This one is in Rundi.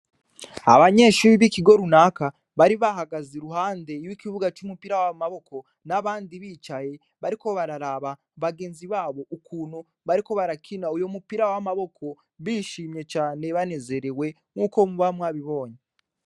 Abnyeshure b'ikigo runaka bari bahagaze iruhande y'ikibuga c'umupira w'amaboko n'abandi bicaye bariko bararaba bagenzi babo ukuntu barakina uwo mupira w'amaboko bishimye cane kandi banezerewe nkuko muba mwabibonye.